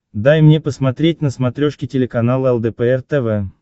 дай мне посмотреть на смотрешке телеканал лдпр тв